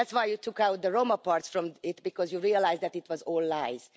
That's why you took out the Roma parts from it, because you realised that it was all lies.